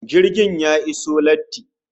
Jirgin ya iso latti